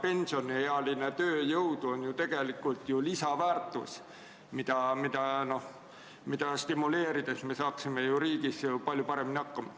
Pensioniealine tööjõud on ju tegelikult lisandväärtus, mida stimuleerides me saaksime riigis palju paremini hakkama.